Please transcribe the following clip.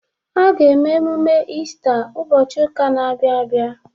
A ga-eme emume Iista ụbọchị ụka na-abịa abịa.